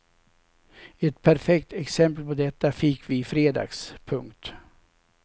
Ett perfekt exempel på detta fick vi i fredags. punkt